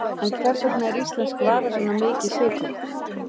En hvers vegna er íslensk vara svona mikið sykruð?